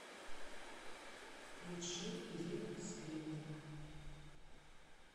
включи ирина скринник